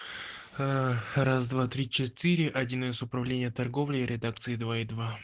ээ раз-два-три-четыре один эс управление торговлей и редакции два и два